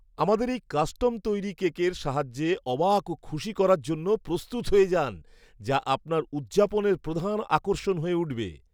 আমাদের এই কাস্টম তৈরি কেকের সাহায্যে অবাক ও খুশি করার জন্য প্রস্তুত হয়ে যান, যা আপনার উদযাপনের প্রধান আকর্ষণ হয়ে উঠবে।